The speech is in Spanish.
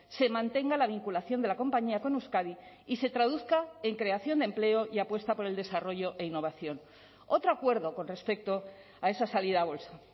se mantenga la vinculación de la compañía con euskadi y se traduzca en creación de empleo y apuesta por el desarrollo e innovación otro acuerdo con respecto a esa salida a bolsa